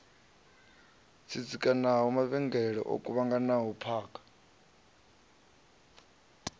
tsitsikanaho mavhengele o kuvhanganaho phakha